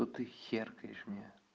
что ты херкаешь мне